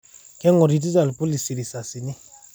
Kengororita lpolisi risasini